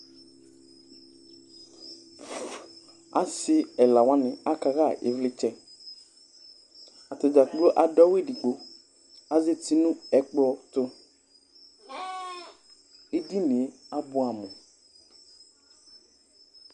asi ɛla wani akaha ivlitsɛ atadza kplo adu awu édigbo azɛti nu ɛkplɔ tu édinié abuam